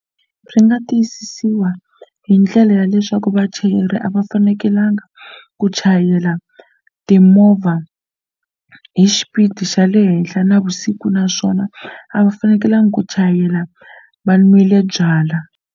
Swi nga tiyisisiwa hi ndlela ya leswaku vachayeri a va fanekelanga ku chayela timovha hi xipidi xa le henhla navusiku naswona a va fanekelanga ku chayela va nwile byalwa.